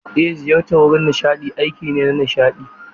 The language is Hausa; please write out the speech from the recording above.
Ej, ziyartar wurin nishadi aiki ne na nishaɗi.